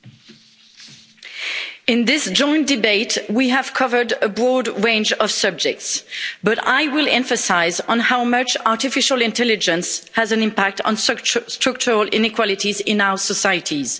Mr President, in this joint debate, we have covered a broad range of subjects, but I will emphasise how much artificial intelligence has an impact on structural inequalities in our societies.